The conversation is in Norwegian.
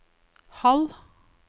halv